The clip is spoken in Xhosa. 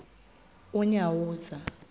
unyawuza